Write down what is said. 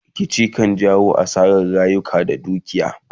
Rikici Abu ne da ke jawo asaran rayuka da dukiya